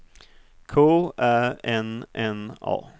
K Ä N N A